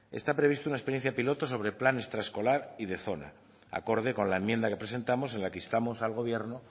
está prevista una experiencia piloto sobre el plan extraescolar y de zona acorde con la enmienda que presentamos en la que instamos al gobierno